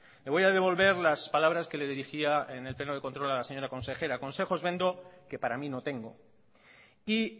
le voy a devolver las palabras que le dirigía en el pleno de contro a la señora consejera consejos vendo que para mí no tengo y